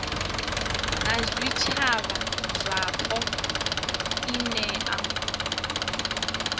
na zwitshavha zwapo i nea